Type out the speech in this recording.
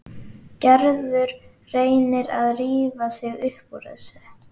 Gerður reynir að rífa sig upp úr þessu.